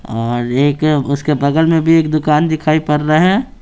और एक उसके बगल में भी एक दुकान दिखाई पड़ रहा है।